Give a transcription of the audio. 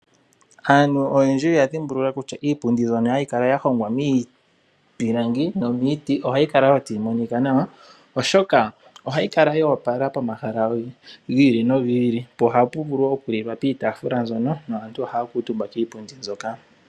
Aantu oyendji oya dhimbulula kutya iipundi mbyoka hayi kala ya hongwa miipilangi nomiiti, ohayi kala wo tayi monika nawa oshoka ohayi kala yo opala pomahala gi ili nogi ili, po ohapu vulu okulilwa piitaafula mbyono naantu ohaya kuutumba kiipundi mbyoka.